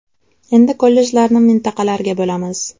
Endi kollejlarni mintaqalarga bo‘lamiz.